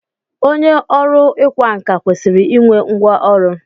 Onye ọrụ ịkwa nkà kwesịrị i nwe ngwa ọrụ.